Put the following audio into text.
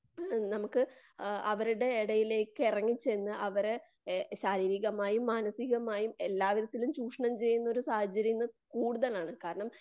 നമുക്ക് ആ അവരുടെ ഇടയിലേക്ക് ഇറങ്ങിച്ചെന്നു അവരെ ശാരീരികമായും മാനസീകമായും എല്ലാ വിധത്തിലും ചുഷണം ചെയ്യുന്നൊരു സാഹചര്യം ഇന്ന് കൂടുതൽ ആണ്.